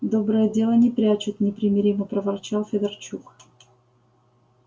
доброе дело не прячут непримиримо проворчал федорчук